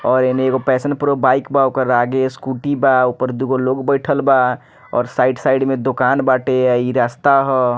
और एने एगो पैशन प्रो बाइक बा ओकर आगे स्कूटी बा ओय पर दू गो लोग बइठल बा और साइड साइड में दोकान बाटे इ रास्ता हअ।